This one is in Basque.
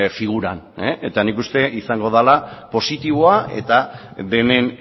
figuran eta nik uste izango dela positiboa eta denen